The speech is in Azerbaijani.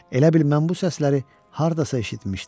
Elə bil mən bu səsləri hardasa eşitmişdim.